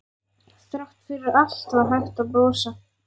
Þrátt fyrir allt var hægt að brosa.